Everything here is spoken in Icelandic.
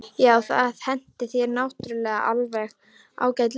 Já, það hentar þér náttúrulega alveg ágætlega.